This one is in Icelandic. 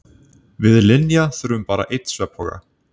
Við Linja þurfum bara einn svefnpoka.